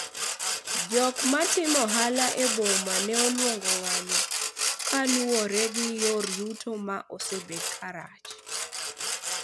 jok matimo ohala e boma ne olwongo ng'anyo kaluwore gi yor yuto ma osebedo karach